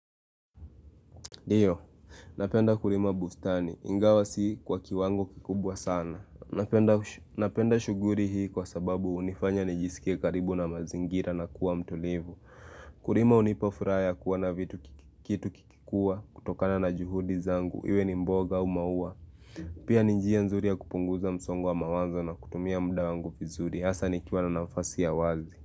Diyo, napenda kurima bustani. Ingawa si kwa kiwango kikubwa sana. Napenda shuguri hii kwa sababu unifanya nijisike karibu na mazingira na kuwa mtulivu. Kurima unipofuraya kuwa na vitu kitu kikikua kutokana na juhudi zangu. Iwe ni mboga au maua. Pia nijia nzuri ya kupunguza msongo wa mawazo na kutumia mda wangu vizuri. Asa nikiwa na nafasi ya wazi.